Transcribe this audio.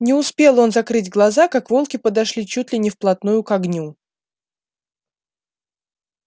не успел он закрыть глаза как волки подошли чуть ли не вплотную к огню